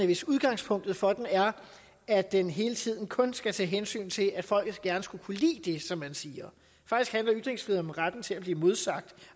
hvis udgangspunktet for den er at den hele tiden kun skal tage hensyn til at folket gerne skulle kunne lide det som man siger faktisk handler ytringsfrihed om retten til at blive modsagt